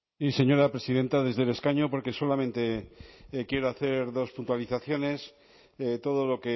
sí señora presidenta desde el escaño porque solamente quiero hacer dos puntualizaciones todo lo